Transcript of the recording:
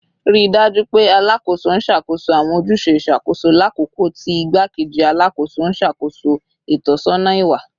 Rii daju pe Alakoso n ṣakoso awọn ojuse iṣakoso lakoko ti Igbakeji Alakoso n ṣakoso itọsọna iwa